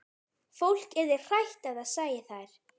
Fólk yrði hrætt ef það sæi þær.